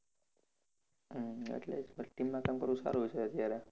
હમ એટલે જ તો team માં કામ કરવું સારું છે અત્યારે